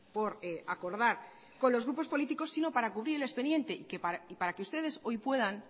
por acordar con los grupos políticos sino para cubrir el expediente y para que ustedes hoy puedan